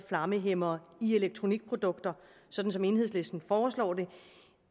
flammehæmmere i elektronikprodukter sådan som enhedslisten foreslår